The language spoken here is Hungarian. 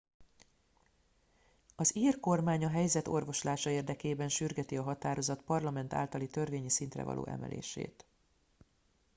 az ír kormány a helyzet orvoslása érdekében sürgeti a határozat parlament általi törvényi szintre való emelését